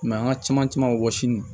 an ka caman camanw wɔsi